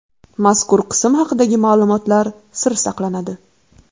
Mazkur qism haqidagi ma’lumotlar sir saqlanadi.